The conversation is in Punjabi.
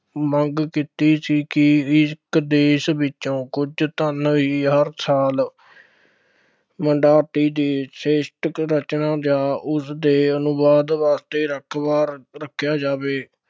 ਮੰਗ ਕੀਤੀ ਸੀ ਕਿ ਦੇਸ਼ ਵਿੱਚੋਂ ਕੁੱਝ ਧੰਨ ਹੀ ਹਰ ਸਾਲ ਰਚਨਾ ਜਾਂ ਉਸਦੇ ਅਨੁਵਾਦ ਵਾਸਤੇ ਰਾਖਵਾਂ ਰੱਖਿਆ ਜਾਵੇ,